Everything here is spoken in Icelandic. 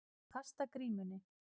Að kasta grímunni